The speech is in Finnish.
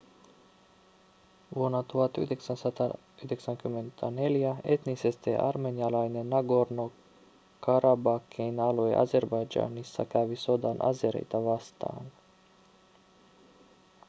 vuonna 1994 etnisesti armenialainen nagorno-karabakhin alue azerbaidžanissa kävi sodan azereita vastaan